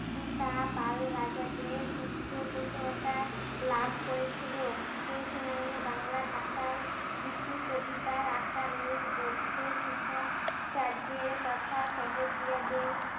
তা পাল রাজাদের পৃষ্ঠপোষকতা লাভ করেছিল। সেই সময়ে বাংলা ভাষায় গীতি কবিতার আকারে বৌদ্ধ সিদ্ধা চার্যের তথা সহজিয়াদের